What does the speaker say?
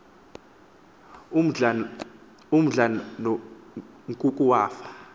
umdla nkuku wafa